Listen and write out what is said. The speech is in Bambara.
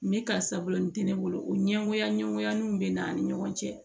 Ni karisa bolo nin tɛ ne bolo o ɲɛngoya ɲɛngoyalenw bɛ n'an ni ɲɔgɔn cɛ